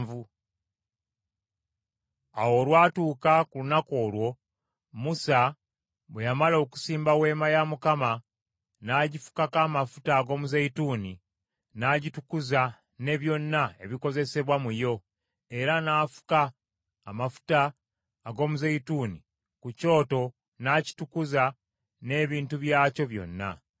Awo olwatuuka ku lunaku olwo, Musa bwe yamala okusimba Weema ya Mukama , n’agifukako amafuta ag’omuzeeyituuni n’agitukuza ne byonna ebikozesebwa mu yo, era n’afuka amafuta ag’omuzeeyituuni ku kyoto n’akitukuza n’ebintu byakyo byonna.